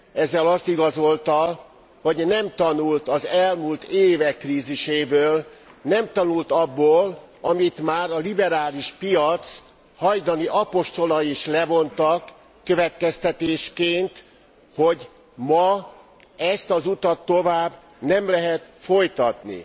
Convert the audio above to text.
Ezzel azt igazolta, hogy nem tanult az elmúlt évek kríziséből, nem tanult abból, amit már a liberális piac hajdani apostolai is levontak következtetésként, hogy ma ezt az utat tovább nem lehet folytatni.